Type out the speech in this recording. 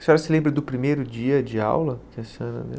A senhora se lembra do primeiro dia de aula